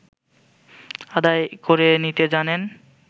আদায় করে নিতে জানেন